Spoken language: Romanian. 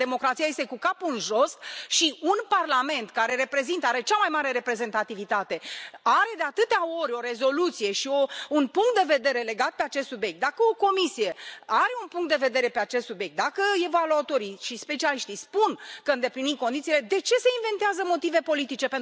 Dacă democrația este cu capul în jos și un Parlament, care are cea mai mare reprezentativitate, are, de atâtea ori, o rezoluție și un punct de vedere legate de acest subiect, dacă o Comisie are un punct de vedere pe acest subiect, dacă evaluatorii și specialiștii spun că îndeplinim condițiile, de ce se inventează motive politice?